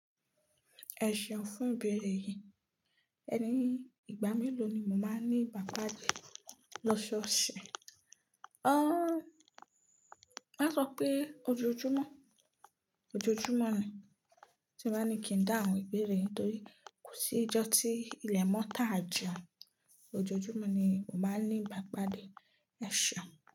Ẹ̀ seun fún ibeere yìí, ẹni ìgbà mélòó ni mo máa ń ní ìbápade lọ ṣọ́ọ̀ṣe? Ó máa sọ pé ojoojúmọ́, ojoojúmọ́ ni tí mo bá ní kí n dáhùn ìbéèrè nítorí kò sí ìjọ tí ilẹ̀ mọ́ tàà jẹun. Ojoojúmọ́ ni mo máa ń ní ìbápade. E seun.